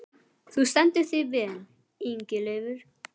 Þú stendur þig vel, Ingileifur!